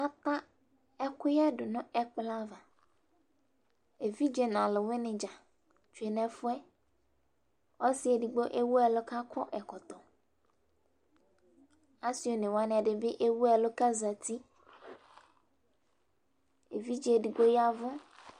Afʋa ɛƙʋƴɛ ɖʋ nʋ ɛƙplɔ avaEviɖze nʋ ɔlʋwɩnɩ ɖza tsue nʋ ɛfʋɛƆsɩ edigbo ewu ɛlʋ ƙʋ aƙɔ ɛkɔtɔ, ɔsɩ one wanɩ bɩ ewu ɛlʋ kʋ azatiEvidze eɖigbo ƴavʋ